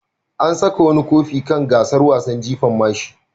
An saka wani kofi kan gasar wasan jifan mashi.